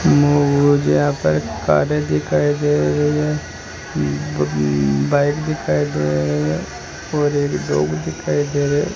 म मुझे यहां पर करें दिखाई दे रही है ब बाइक दिखाई दे रही हैं और एक लोग दिखाई दे रहे --